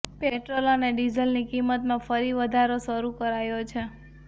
petrol અને ડીઝલની કિંમતમાં ફરી વધારો શરૂ કરાયો છે